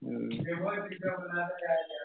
હમ